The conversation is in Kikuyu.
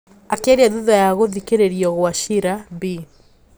Akiaria thutha ya gũthikiririo gwa cira, Bi.